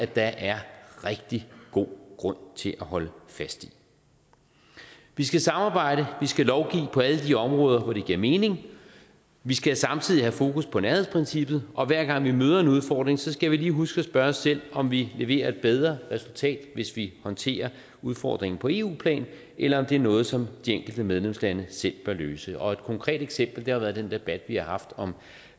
der er rigtig god grund til at holde fast i vi skal samarbejde vi skal lovgive på alle de områder hvor det giver mening vi skal samtidig have fokus på nærhedsprincippet og hver gang vi møder en udfordring skal vi lige huske at spørge os selv om vi leverer et bedre resultat hvis vi håndterer udfordringen på eu plan eller om det er noget som de enkelte medlemslande selv bør løse et konkret eksempel har været den debat vi har haft om